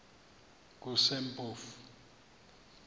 kusempofu